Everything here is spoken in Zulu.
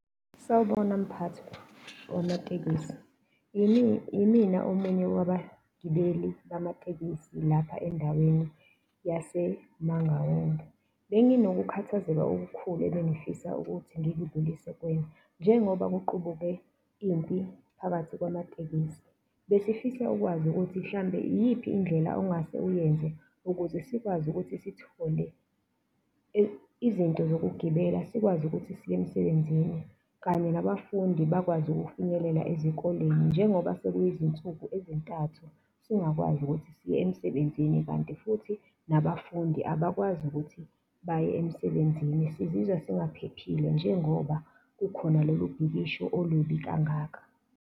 Sawubona mphathi wamatekisi, yimina omunye wabagibeli bamatekisi lapha endaweni yaseMangaung, benginokukhathazeka okukhulu ebengifisa ukuthi ngikudlulise kuwena. Njengoba kuqubuke impi phakathi kwamatekisi, besifisa ukwazi ukuthi mhlawumbe iyiphi indlela ongase uyenze, ukuze sikwazi ukuthi sithole izinto zokugibela, sikwazi ukuthi siye emsebenzini, kanye nabafundi bakwazi ukufinyelela ezikoleni njengoba sekuyizinsuku ezintathu singakwazi ukuthi siye emsebenzini kanti futhi nabafundi abakwazi ukuthi baye emsebenzini sizizwa singaphephile njengoba kukhona lolu bhikisho olubi kangaka.